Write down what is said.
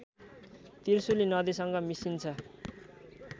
त्रिशुली नदीसँग मिसिन्छ